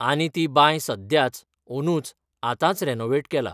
आनी ती बांय सद्याच, ओनूच, आतांच रॅनोवेट केला.